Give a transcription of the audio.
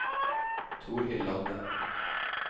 Torhild Lande